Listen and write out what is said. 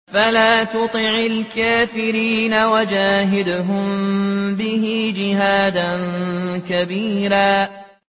فَلَا تُطِعِ الْكَافِرِينَ وَجَاهِدْهُم بِهِ جِهَادًا كَبِيرًا